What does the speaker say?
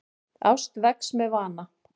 Ást vex með vana.